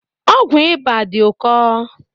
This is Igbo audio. Ọgwụ ịba dị ụkọ